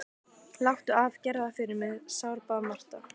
Láttu af, gerðu það fyrir mig, sárbað Marta.